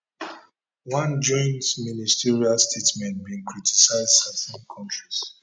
one joint ministerial statement bin criticise certain kontris